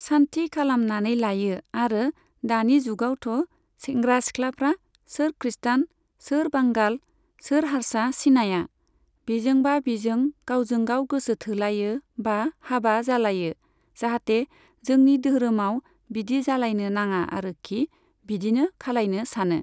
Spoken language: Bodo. सान्थि खालामनानै लायो आरो दानि जुगावथ' सेंग्रा सिख्लाफ्रा सोर ख्रिष्टान सोर बांगाल सोर हार्सा सिनाया, बिजोंबा बिजों गावजों गाव गोसो थोलायो बा हाबा जालायो। जाहाथे जोंनि दोहोरोमाव बिदि जालायनो नाङा आरोखि बिदिनो खालायनो सानो।